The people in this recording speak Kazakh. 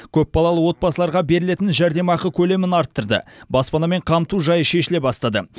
көпбалалы отбасыларға берілетін жәрдемақы көлемін арттырды баспанамен қамту жайы шешіле бастады